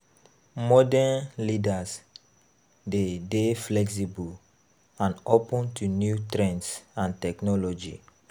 Modern leaders de dey flexible and open to new trends and technology